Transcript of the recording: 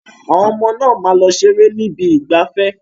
Àwọn ọmọ náà máa lọ ṣeré ni ibi ìgbafẹ́.